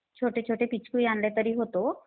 हा, छोटेछोटे पिचकू आणले तरी होतो.